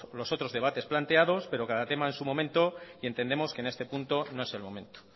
los otros debates planteados pero cada tema en su momento y entendemos que en este punto no es el momento